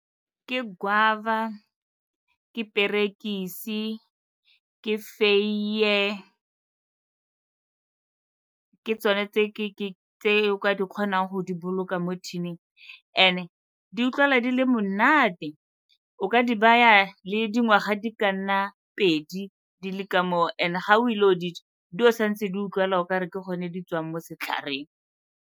Ke guava, ke perekise, ke feiye. Ke tsone tse o ka di kgonang go di boloka mo tin-ing and-e di utlwala di le monate, o ka di baya le dingwaga di ka nna pedi di le ka moo, and-e ga o ile go di ja di o sa ntse di utlwala o ka re ke gone di tswang mo setlhareng.